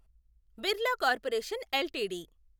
Birla corporation LTD